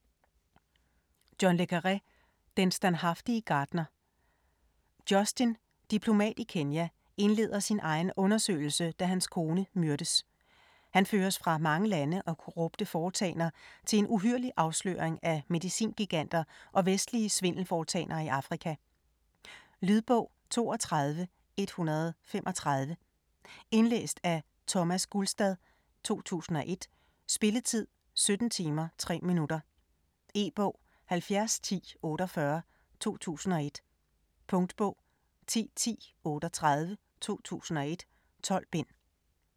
Le Carré, John: Den standhaftige gartner: Justin - diplomat i Kenya - indleder sin egen undersøgelse, da hans kone myrdes. Han føres fra mange lande og korrupte foretagender til en uhyrlig afsløring af medicingiganter og vestlige svindelforetagender i Afrika. Lydbog 32135 Indlæst af Thomas Gulstad, 2001. Spilletid: 17 timer, 3 minutter. E-bog 701048 2001. Punktbog 101038 2001. 12 bind.